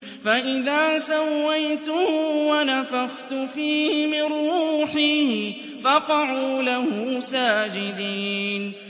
فَإِذَا سَوَّيْتُهُ وَنَفَخْتُ فِيهِ مِن رُّوحِي فَقَعُوا لَهُ سَاجِدِينَ